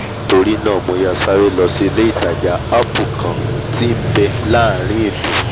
nítorínáà mo yára sáré lọ sí ilé-ìtajà apple kan tí nbẹ láàrin ìlú